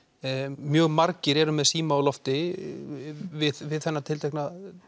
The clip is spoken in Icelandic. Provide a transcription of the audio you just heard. mjög margir eru með síma á lofti við við þessar tilteknu